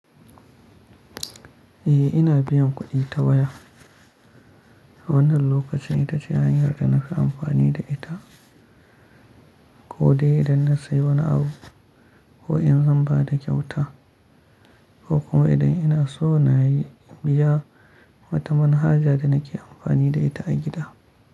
Eh ina biyan kuɗi ta waya. Wannan lokacin ita ce hanyar da nake amfani da ita ko dai idan na sayi wani abu ko in zan ba da kyauta ko kuma idan ina so na yi biya wata manhaja da nake amfani da ita a gida.